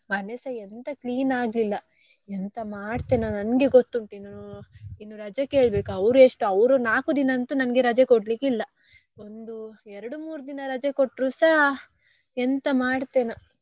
ಮನೆಸಾ ಎಂತ clean ಆಗ್ಲಿಲ್ಲ ಎಂತ ಮಾಡ್ತೇನ ನಂಗೆ ಗೊತ್ತುಂಟ್ ಇನ್ನೂ ಇನ್ನೂ ರಜೆ ಕೇಳ್ಬೇಕು ಅವರೆಷ್ಟು ಅವ್ರು ನಾಕು ದಿನ ಎಂತು ನಂಗೆ ರಜೆ ಕೊಡ್ಲಿಕ್ಕೆ ಇಲ್ಲ ಒಂದು ಎರಡು ಮೂರ್ ದಿನ ರಜೆ ಕೊಟ್ರುಸಾ ಎಂತ ಮಾಡ್ತೇನಾ.